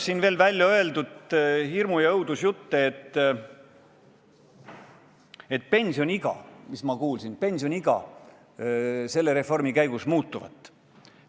Siin on räägitud hirmu- ja õudusjutte, et pensioniiga selle reformi käigus tõstetakse.